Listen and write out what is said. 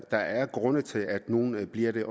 der er grunde til at nogle bliver det